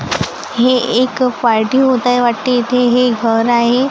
हे एक फायटिंग होत आहे वाटते इथे हे एक घर आहे.